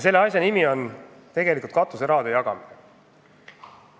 Selle asja nimi on katuserahade jagamine.